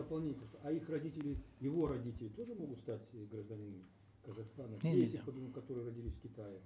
дополнительно а их родители его родители тоже могут стать гражданинами казахстана дети которые родились в китае